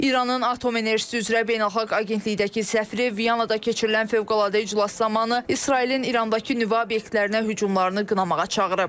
İranın Atom Enerjisi üzrə Beynəlxalq Agentlikdəki səfiri Vyanada keçirilən fövqəladə iclas zamanı İsrailin İrandakı nüvə obyektlərinə hücumlarını qınamağa çağırıb.